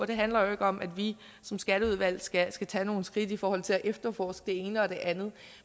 det handler jo ikke om at vi som skatteudvalg skal skal tage nogle skridt i forhold til at efterforske det ene og det andet